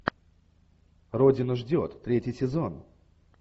родина ждет третий сезон